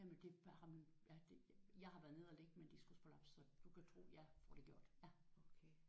Jamen det har man jeg har været nede at ligge med en diskusprolaps så du kan tro jeg får det gjort ja